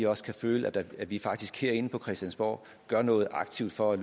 også kan føle at vi faktisk herinde på christiansborg gør noget aktivt for at